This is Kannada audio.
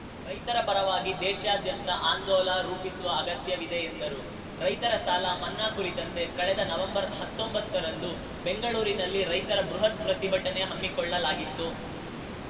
ರೈತರ ಪರವಾಗಿ ದೇಶದಾದ್ಯಂತ ಆಂದೋಲ ರೂಪಿಸುವ ಅಗತ್ಯವಿದೆ ಎಂದರು ರೈತರ ಸಾಲ ಮನ್ನಾ ಕುರಿತಂತೆ ಕಳೆದ ನವೆಂಬರ್‌ ಹತ್ತೊಂಬತ್ತರಂದು ಬೆಂಗಳೂರಿನಲ್ಲಿ ರೈತರ ಬೃಹತ್‌ ಪ್ರತಿಭಟನೆ ಹಮ್ಮಿಕೊಳ್ಳಲಾಗಿತ್ತು